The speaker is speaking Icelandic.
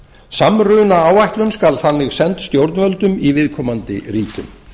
samrunaáætlun skal þannig send stjórnvöldum í viðkomandi ríkjum